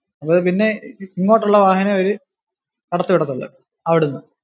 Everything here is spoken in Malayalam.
അത് പിന്നെ ഇങ്ങോട്ടുള്ള വാഹനമേ അവര് കടത്തി വിടത്തുള്ളു അവിടുന്ന്.